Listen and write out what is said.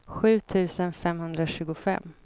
sju tusen femhundratjugofem